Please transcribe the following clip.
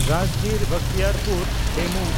ᱨᱟᱡᱽᱜᱤᱨ–ᱵᱚᱠᱷᱛᱤᱭᱟᱨᱯᱩᱨ DEMU